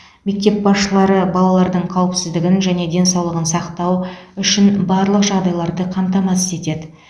мектеп басшылары балалардың қауіпсіздігін және денсаулығын сақтау үшін барлық жағдайларды қамтамасыз етеді